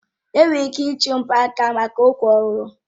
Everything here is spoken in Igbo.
Enwekwara ike iji mgbaaka maka nkwa ọlụlụ.